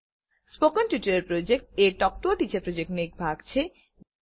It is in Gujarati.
સ્પોકન ટ્યુટોરિયલ પ્રોજેક્ટ એ ટોક ટુ અ ટીચર પ્રોજેક્ટનો એક ભાગ છે